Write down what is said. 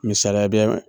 Misaliya bɛ